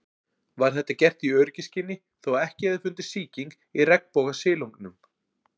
Var þetta gert í öryggisskyni þó að ekki hefði fundist sýking í regnbogasilungnum.